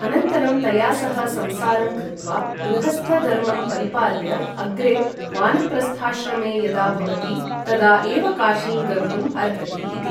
अनन्तरं तया सह संसारं कृत्वा गृहस्थधर्मं परिपाल्य अग्रे वानप्रस्थाश्रमे यदा भवति तदा एव काशीं गन्तुम् अर्हति इति ।